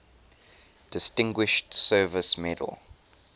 distinguished service medal